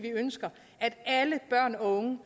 unge